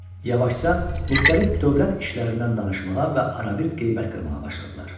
Yavaşca müxtəlif dövlət işlərindən danışmağa və arabir qeybət qırmağa başladılar.